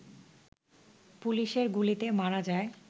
পুলিশের গুলিতে মারা যায়